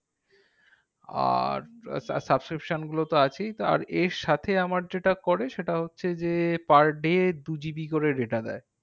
আর subscription গুলোতো আছেই আর এর সাথে আমার যেটা করা সেটা হচ্ছে যে, per day দু GB করে data দেয়।